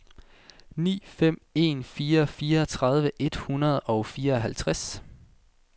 ni fem en fire fireogtredive et hundrede og fireoghalvtreds